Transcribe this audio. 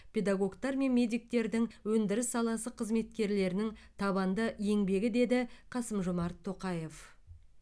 педагогтар мен медиктердің өндіріс саласы қызметкерлерінің табанды еңбегі деді қасым жомарт тоқаев